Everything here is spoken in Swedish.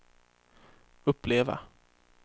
uppleva